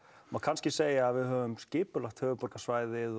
má kannski segja að við höfum skipulagt höfuðborgarsvæðið